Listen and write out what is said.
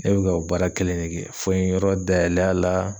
Ne bɛ ka o baara kelen ne kɛ fo n ye yɔrɔ dayɛlɛ a la.